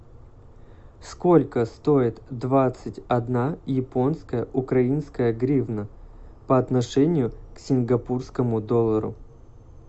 сколько стоит двадцать одна японская украинская гривна по отношению к сингапурскому доллару